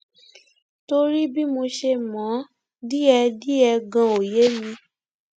torí bí mo ṣe mọ ọn díẹdíẹ ganan ò yé mi